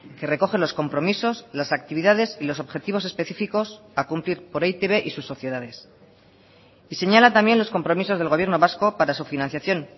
que recoge los compromisos las actividades y los objetivos específicos a cumplir por e i te be y sus sociedades y señala también los compromisos del gobierno vasco para su financiación